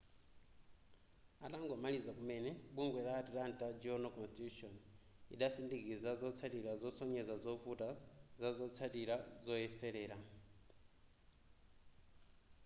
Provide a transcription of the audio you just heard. atangomaliza kumene bungwe la atlanta journal-constitution idasindikiza zotsatira zosonyeza zovuta zazotsatira zoyeserera